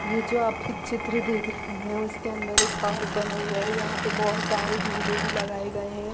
ये जो आप चित्र देख रहे है उसके अंदर एक पार्क बना हुआ है यहाँ पे बहुत सारे झूले भी लगाए गए है।